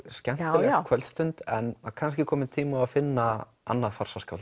skemmtileg kvöldstund en kannski kominn tími á að finna annað